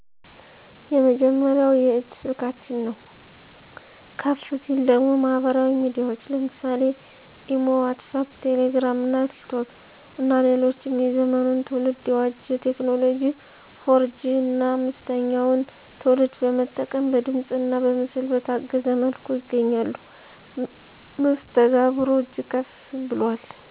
የመጀመሪያው የእጅ ስልካችን ነው። ከፍ ሲል ደግሞ ማህበራዊ ሚዲያዎች ለምሳሌ (ኢሞ ዋትስአፕ ቴሌግራም እና ቲክቶክ ) እና ሌሎችም የዘመኑን ትውልድ የዋጀ ቴክኖሎጂ 4 ጂ 5ተኛውን ትውልድ በመጠቀም በድምፅእና በምስል በታገዘ መልኩ ይገናኛሉ። መስተጋብሩ እጅግ ከፍ ብሏል